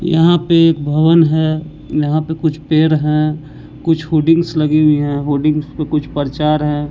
यहां पे एक भवन है यहां पे कुछ पेर है कुछ हुडिंग्स लगी हुई हैं हुडिंग्स पे कुछ परचार है।